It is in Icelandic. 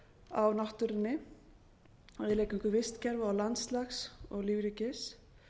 á náttúrunni eiginlega eingöngu vistkerfa og landslags og lífríkis